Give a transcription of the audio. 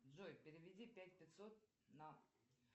джой переведи пять пятьсот на